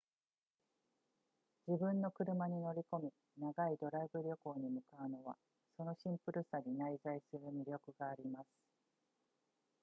自分の車に乗り込み長いドライブ旅行に向かうのはそのシンプルさに内在する魅力があります